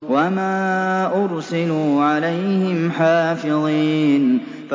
وَمَا أُرْسِلُوا عَلَيْهِمْ حَافِظِينَ